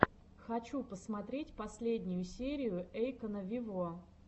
хочу посмотреть последнюю серию эйкона вево